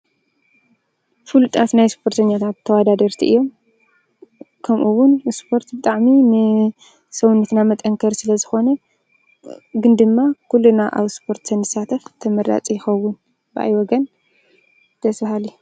ፉሉጣት ናይ ስፖርተኛታት ተወዳደርቲ እዮም። ከምኡ ወን ስፖርት ብጣዕሚ ንሰውነትና መጠንከሪ ሰለዝኮነ ግን ድማ ኩልና ኣብ ስፖርት ተንሳተፍ ተመራፂ ይኸውን። ብኣይ ወገን ደስ በሃሊ።